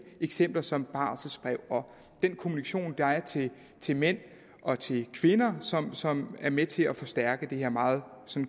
eksempler som barselsbrev og den kommunikation der er til mænd og til kvinder som som er med til at forstærke det her meget